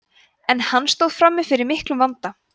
en hann stóð frammi fyrir miklum vanda